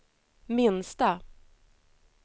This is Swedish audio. minsta